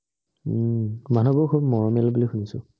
হুম মানু্হ বোৰ খুব মৰমিয়াল বুলি শুনিছোঁ